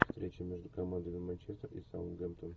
встреча между командами манчестер и саутгемптон